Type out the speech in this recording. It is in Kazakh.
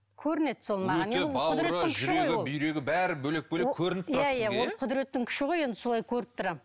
көрінеді сол маған бүйрегі бәрі бөлек бөлек көрініп тұрады сізге иә ол құдіреттің күші ғой енді солай көріп тұрамын